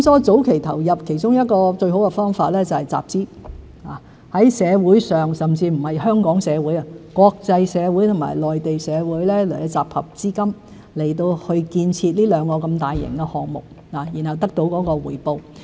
早期投入其中一個最好的方法是集資，在社會上——不只在香港社會，還可在內地以至國際社會——集合資金，以建設這兩項如此大型的項目，然後得到回報。